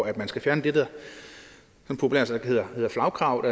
at man skal fjerne det der populært sagt hedder flagkravet